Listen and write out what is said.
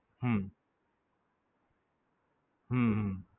હમ હમ